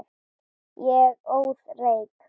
Ég óð reyk.